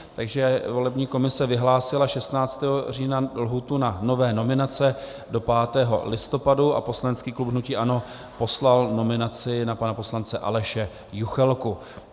Takže volební komise vyhlásila 16. října lhůtu na nové nominace do 5. listopadu a poslanecký klub hnutí ANO poslal nominaci na pana poslance Aleše Juchelku.